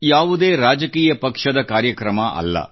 ಯಾವುದೇ ರಾಜಕೀಯ ಪಕ್ಷದ ಕಾರ್ಯಕ್ರಮವಲ್ಲ